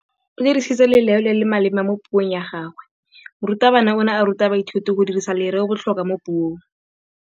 O dirisitse lerêo le le maleba mo puông ya gagwe. Morutabana o ne a ruta baithuti go dirisa lêrêôbotlhôkwa mo puong.